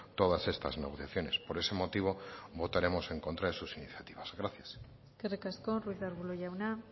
todas estas negociaciones por ese motivo votaremos en contra de sus iniciativas gracias eskerrik asko ruiz de arbulo jauna